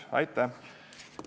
Aitäh!